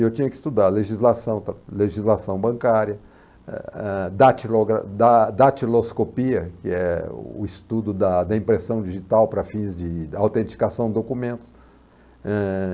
Eu tinha que estudar legislação legislação bancária, eh, eh, datilogra da datiloscopia, que é o estudo da da impressão digital para fins de autenticação de documentos. Eh